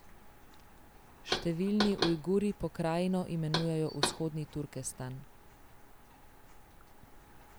Številni Ujguri pokrajino imenujejo Vzhodni Turkestan.